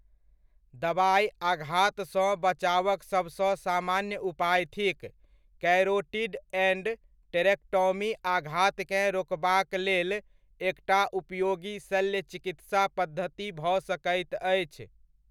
दबाइ आघातसँ बचावक सभसँ सामान्य उपाय थिक, कैरोटिड एण्ड टेरेक्टॉमी आघातकेँ रोकबाकलेल एकटा उपयोगी शल्य चिकित्सा पद्धति भऽ सकैत अछि।